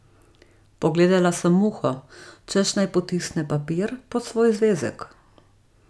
Pogledala sem Muho, češ naj potisne papir pod svoj zvezek.